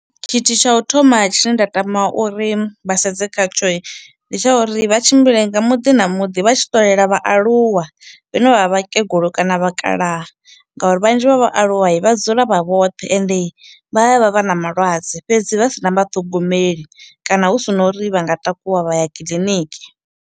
Tshithu tsha u thoma tshine nda tama uri vhasedze khatshoi ndi tsha uri vha tshimbile nga muḓi na muḓi vha tshi ṱolela vhaaluwa vhane vha vha vhakegulu kana vhakalaha, ngauri vhanzhi vha vha aluwai vha dzula vha vhoṱhe ende vha ya vha vha na malwadze fhedzi vhasina vha ṱhogomeli kana hu si na uri vha nga takuwa vha ya kiḽiniki.